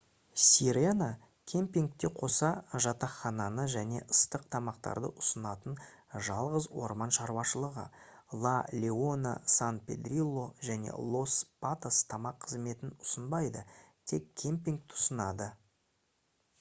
sirena кэмпингке қоса жатақхананы және ыстық тамақтарды ұсынатын жалғыз орман шаруашылығы la leona san pedrillo және los patos тамақ қызметін ұсынбайды тек кэмпингті ұсынады